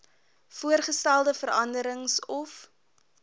voorgestelde veranderings of